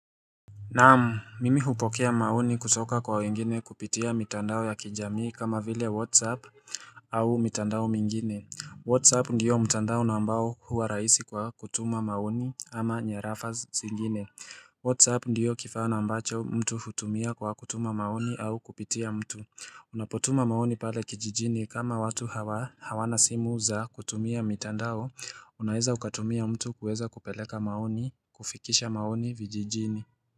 Naamu mimi hupokea maoni kutoka kwa wingine kupitia mitandao ya kijamii kama vile whatsapp au mitandao mingine Whatsapp ndiyo mitandao nambao huwa raisi kwa kutuma maoni ama nyarafa zingine Whatsapp ndiyo kifana mbacho mtu hutumia kwa kutuma maoni au kupitia mtu Unapotuma maoni pale kijijini kama watu hawana simu za kutumia mitandao unaeza ukatumia mtu kuweza kupeleka maoni kufikisha maoni vijijini.